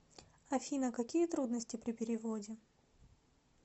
афина какие трудности при переводе